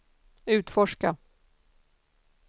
utforska